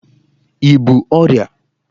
I bú ọrịa!